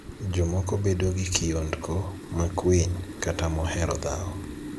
Jomoko bedo gi kiondko, makwiny, kata mohero dhawo.